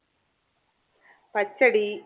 പച്ചടി